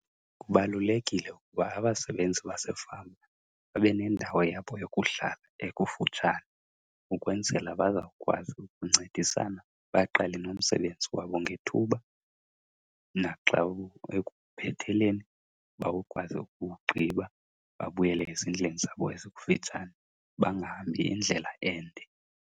Kubalulekile ukuba abasebenzi basefama babe nendawo yabo yokuhlala ekufutshane ukwenzela bazawukwazi ukuncedisana baqale nomsebenzi wabo ngethuba. Naxa ekuphetheleni bakwazi ukuwugqiba babuyele ezindlini zabo ezikufitshane, bangahambi indlela ende.